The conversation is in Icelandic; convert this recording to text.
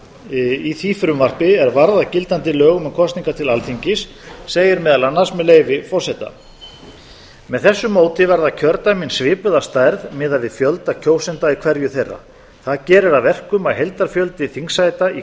í því frumvarpi er varð að gildandi lögum um kosningar til alþingis segir meðal annars með leyfi forseta þ tvö hundruð tuttugu og níu með þessu móti verða kjördæmin svipuð að stærð miðað við fjölda kjósenda í hverju þeirra það gerir að verkum að heildarfjöldi þingsæta í